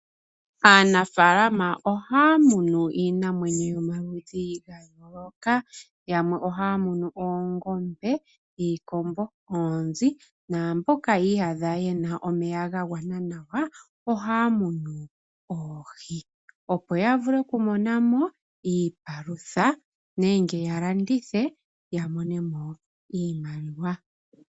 Aanafaalama ohaya munu iinamwenyo yomaludhi ga yooloka, yamwe ohaya munu oongombe, iikombo, oonzi naamboka yi iyadha ye na omeya ga gwana nawa ohaya munu oohi opo ya vule okumona mo iipalutha nenge ya landithe ya mone mo iimaliwa.